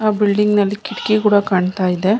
ಆ ಬಿಲ್ಡಿಂಗ್ ನಲ್ಲಿ ಕಿಟಕಿ ಕೂಡ ಕಾಣ್ತಾ ಇದೆ.